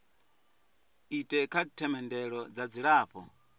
ite kha themendelo dza dzilafho